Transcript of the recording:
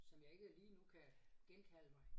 Som jeg ikke lige nu kan genkalde mig